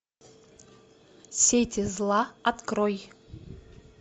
сети зла открой